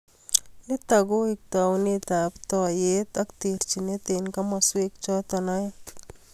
Nito koek taunetab toiyet ak terchinet eng komoswek choto aeng